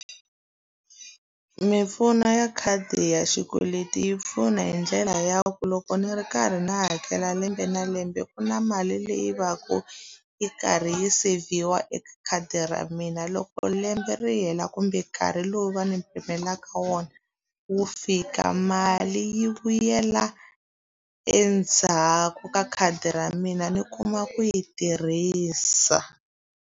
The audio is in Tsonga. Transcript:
Mimpfuno ya khadi ya xikweleti yi pfuna hi ndlela ya ku loko ni ri karhi ndzi hakela lembe na lembe ku na mali leyi va ka yi karhi yi seyivhiwa eka khadi ra mina. Loko lembe ri hela kumbe nkarhi lowu va ni pimelaka wona wu fika, mali yi vuyela endzhaku ka khadi ra mina ni kuma ku yi tirhisa.